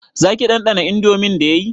Zaki ɗanɗana indomin da yayi